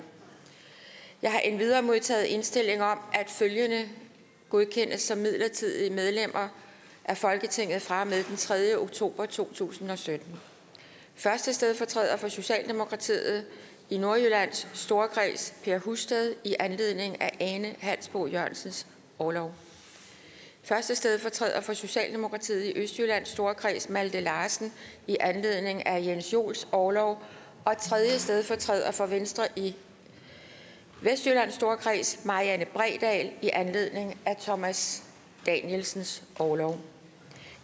jeg har endvidere modtaget indstilling om at følgende godkendes som midlertidige medlemmer af folketinget fra og med den tredje oktober 2017 første stedfortræder for socialdemokratiet i nordjyllands storkreds per husted i anledning af ane halsboe jørgensens orlov første stedfortræder for socialdemokratiet i østjyllands storkreds malte larsen i anledning af jens joels orlov og tredje stedfortræder for venstre i vestjyllands storkreds marianne bredal i anledning af thomas danielsens orlov